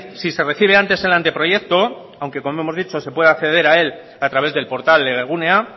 si se recibe ante el anteproyecto aunque como hemos dicho se puede acceder a él a través del portal legegunea